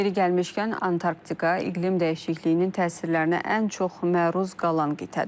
Yeri gəlmişkən, Antarktika iqlim dəyişikliyinin təsirlərinə ən çox məruz qalan qitədir.